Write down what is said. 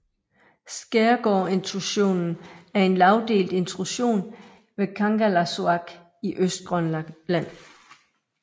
Skaergaard intrusionen er en lagdelt intrusion ved Kangerlussuaq i Østgrønland